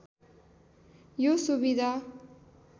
यो सुविधा